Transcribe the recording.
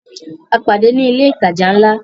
A pàdé ní ilé ìtajà ńlá